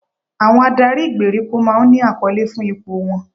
Àwọn adarí ìgbèríko máa ń ní àkọlé fún ipò wọn